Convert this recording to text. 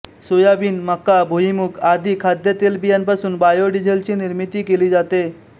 soybean मका भुईमूग आदी खाद्य तेलबियांपासून बायोडीझेलची निर्मिती केली जाते